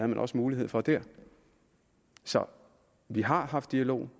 man også mulighed for det så vi har haft dialog